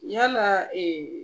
Yala